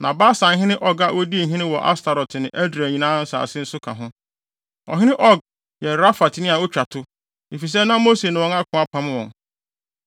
na Basanhene Og a odii hene wɔ Astarot ne Edrei nsase nyinaa nso ka ho. Ɔhene Og yɛ Rafatni a otwa to, efisɛ na Mose ne wɔn ako apam wɔn.